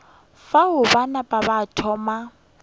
fao ba napa ba thoma